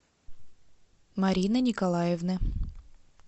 марины николаевны